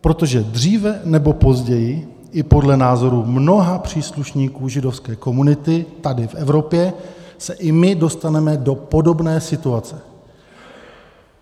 Protože dříve nebo později i podle názoru mnoha příslušníků židovské komunity tady v Evropě se i my dostaneme do podobné situace.